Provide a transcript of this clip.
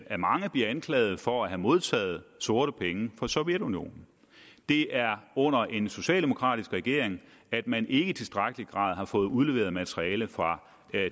af mange bliver anklaget for at have modtaget sorte penge fra sovjetunionen det er under en socialdemokratisk regering at man ikke i tilstrækkelig grad har fået udleveret materialet fra